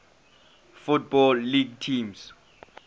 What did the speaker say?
football league teams